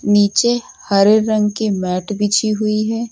नीचे हरे रंग की मैट बिछी हुई है।